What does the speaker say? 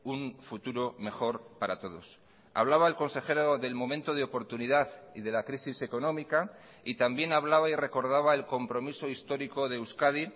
un futuro mejor para todos hablaba el consejero del momento de oportunidad y de la crisis económica y también hablaba y recordaba el compromiso histórico de euskadi